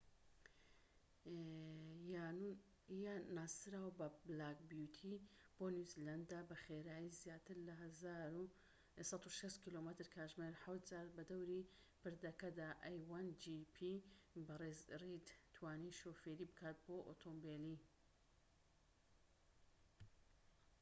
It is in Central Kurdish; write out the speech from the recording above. بەڕێز ڕید توانی شۆفێری بکات بۆ ئۆتۆمبیلی a1gp ی ناسراو بە بلاک بیوتی بۆ نیوزیلەندە بە خێرایی زیاتر لە 160 کم/کاتژمێر حەوت جار بەدەوری پردەکەدا